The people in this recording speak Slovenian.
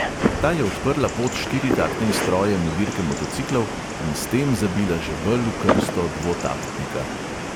Ta je odprla pot štiritaktnim strojem v dirke motociklov in s tem zabila žebelj v krsto dvotaktnika.